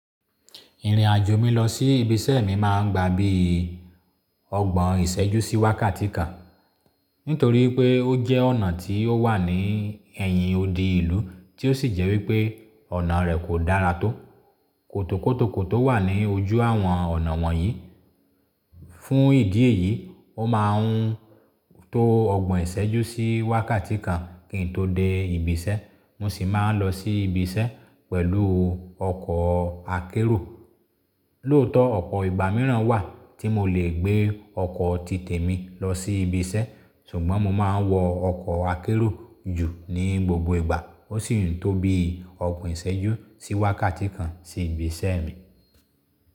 Ìrìnàjò mi lọ sí ibi iṣẹ́ mi máa ń gba bíi ọgbọ̀n ìṣẹ́jú sí wákàtí kan. Nítorí pé ó jẹ́ ọ̀nà tí ó wà ní ẹ̀yìn odi ìlú tí ó sì jẹ́ wípé ọ̀nà rẹ̀ kò dára tó. Kòtò kòtò kòtò wà ní ojú àwọn ọ̀nà wọ̀n yìí fún ìdí èyí, ó máa ń tó ọgbọ̀n ìṣẹ́jú sí wákàtí kan kí n tó dé ibi iṣẹ́. Mo sì máa ń lọ sí ibi iṣẹ́ pẹ̀lú ọkọ̀ akérò. Lóòótọ́ ọ̀pọ̀ ìgbà mìíràn wà tí mo lè gbé ọkọ̀ tí tẹ̀mi lọ sí ibi iṣẹ́, ṣùgbọ́n mo máa ń wọ ọkọ̀ akérò jù ní gbogbo ìgbà. Ó sì ń tó bí i ọgbọ̀n ìṣẹ́jú sí wákàtí kan sí ibi iṣẹ́ mi.